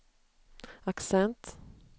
accent